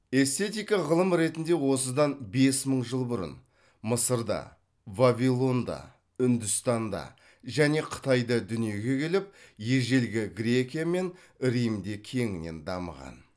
эстетика ғылым ретінде осыдан бес мың жыл бұрын мысырда вавилонда үндістанда және қытайда дүниеге келіп ежелгі грекия мен римде кеңінен дамыған